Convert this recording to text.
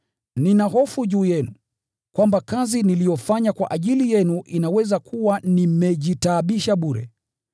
Nina hofu juu yenu, kwamba kazi niliyofanya kwa ajili yenu inaweza kuwa nimejitaabisha bure.